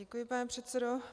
Děkuji, pane předsedo.